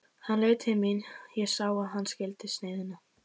Hann leit til mín, ég sá að hann skildi sneiðina.